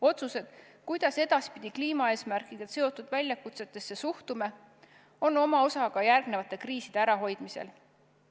Otsustel, kuidas edaspidi kliimaeesmärkidega seotud väljakutsetesse suhtume, on oma osa ka järgnevate kriiside ärahoidmisel.